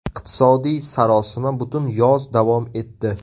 Iqtisodiy sarosima butun yoz davom etdi.